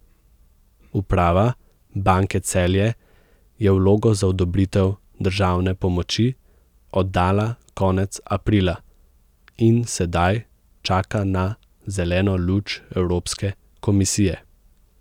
Uprava Banke Celje je vlogo za odobritev državne pomoči oddala konec aprila in sedaj čaka na zeleno luč Evropske komisije.